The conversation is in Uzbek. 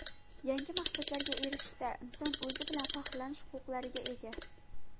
Yangi maqsadlarga erishishda inson o‘zi bilan faxrlanish huquqlariga ega.